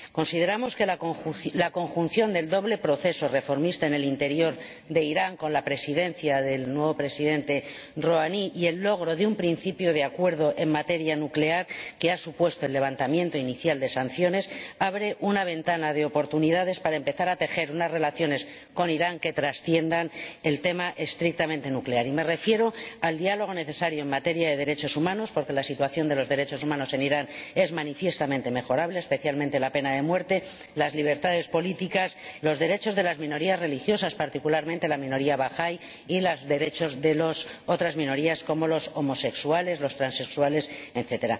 Consideramos que la conjunción del doble proceso reformista en el interior de Irán con el nuevo Presidente Rohani y el logro de un principio de acuerdo en materia nuclear, que ha supuesto el levantamiento inicial de las sanciones, abre una ventana de oportunidades para empezar a tejer unas relaciones con Irán que trasciendan el tema estrictamente nuclear. Y me refiero al diálogo necesario en materia de derechos humanos, porque la situación de los derechos humanos en Irán es manifiestamente mejorable, especialmente por lo que respecta a la pena de muerte, las libertades políticas, los derechos de las minorías religiosas, particularmente la minoría bahaí, y los derechos de otras minorías, como los homosexuales, los transexuales, etc.